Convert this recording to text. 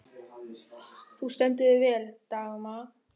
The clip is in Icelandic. Þú stendur þig vel, Dagmar!